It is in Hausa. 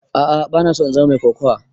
A'a bana so in zama mai kokawa.